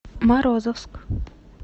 морозовск